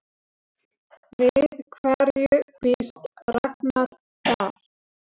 Við hverju býst Ragnar þar?